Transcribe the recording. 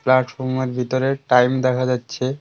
প্ল্যাটফর্মের ভিতরে টাইম দেখা যাচ্ছে।